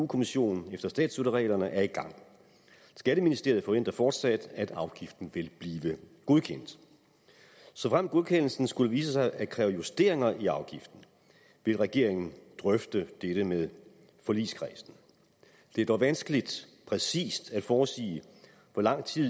kommissionen efter statsstøttereglerne er i gang skatteministeriet forventer fortsat at afgiften vil blive godkendt såfremt godkendelsen skulle vise sig at kræve justeringer i afgiften vil regeringen drøfte dette med forligskredsen det er dog vanskeligt præcist at forudsige hvor lang tid